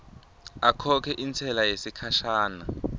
akhokhe intsela yesikhashana